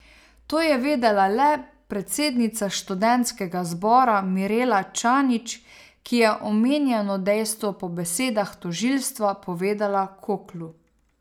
To je vedela le predsednica študentskega zbora Mirela Čanić, ki je omenjeno dejstvo po besedah tožilstva povedala Koklu.